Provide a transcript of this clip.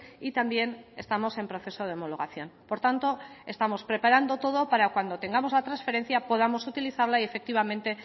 y también estamos en proceso de homologación por tanto estamos preparando todo para cuando tengamos la transferencia podamos utilizarla y efectivamente